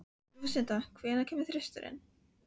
Lúsinda, hvenær kemur þristurinn?